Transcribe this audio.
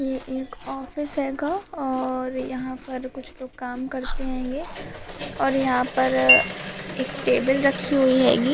ये एक ऑफिस हैगा और यहाँ पर कुछ लोग काम करते हैंगे और यहाँ पर एक टेबल रखी हुई हैगी।